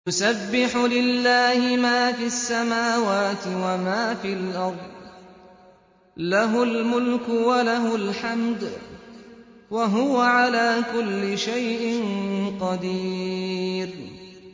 يُسَبِّحُ لِلَّهِ مَا فِي السَّمَاوَاتِ وَمَا فِي الْأَرْضِ ۖ لَهُ الْمُلْكُ وَلَهُ الْحَمْدُ ۖ وَهُوَ عَلَىٰ كُلِّ شَيْءٍ قَدِيرٌ